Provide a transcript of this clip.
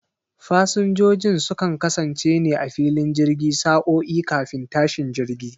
Fasinjojin sukan kasance ne a filin jirgi sa'o'i kafin tashin jirgi